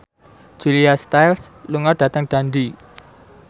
Julia Stiles lunga dhateng Dundee